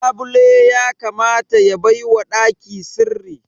Labule ya kamata ya baiwa ɗaki sirri